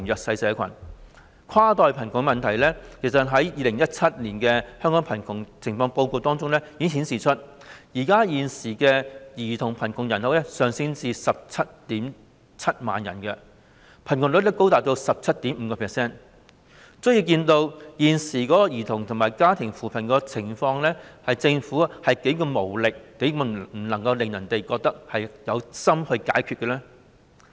事實上，關於跨代貧窮的問題，《2017年香港貧窮情況報告》顯示，現時兒童貧窮人口上升至 177,000 人，貧窮率高達 17.5%， 足見現時政府為兒童及家庭推出的扶貧措施是何等無力、何等無法讓人覺得政府有心解決問題。